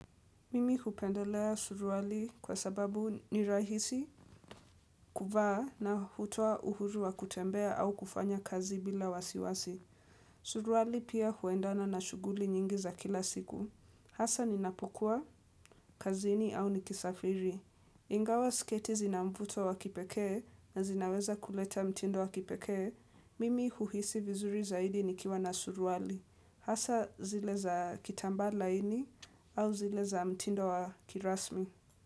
Mimi hupendelea suruali kwa sababu ni rahisi, kuvaa na hutoa uhuru wa kutembea au kufanya kazi bila wasiwasi. Suruali pia huendana na shughuli nyingi za kila siku. Hasa ninapokua, kazini au nikisafiri. Ingawa sketi zina mvuto wa kipekee na zinaweza kuleta mtindo wa kipekee. Mimi huhisi vizuri zaidi ni kiwa na suruali. Hasa zile za kitambaa laini au zile za mtindo wa kirasmi.